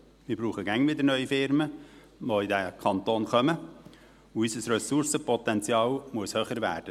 Wir brauchen immer wieder neue Firmen, die in diesen Kanton kommen, und unser Ressourcenpotenzial muss höher werden.